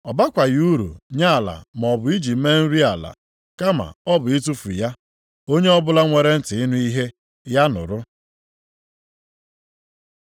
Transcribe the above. Ọ bakwaghị uru nye ala maọbụ iji mee nri ala. Kama ọ bụ itufu ya. “Onye ọbụla nwere ntị ịnụ ihe, ya nụrụ.”